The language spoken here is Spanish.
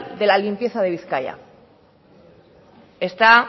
de la limpieza de bizkaia está